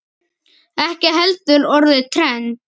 Ekki heldur orðið trend.